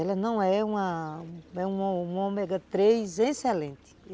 Ela não é uma, uma uma ômega três excelente.